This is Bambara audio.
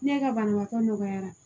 Ne ka banabaatɔ nɔgɔyara